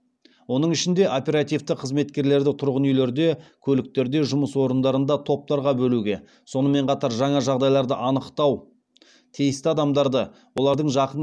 оның ішінде оперативті қызметкерлерді тұрғын үйлерде көліктерде жұмыс орындарында топтарға бөлуге сонымен қатар жаңа жағдайларды анықтау тиісті адамдарды олардың жақын